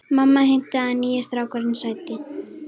Mamma heimtaði að nýi strákurinn sæti.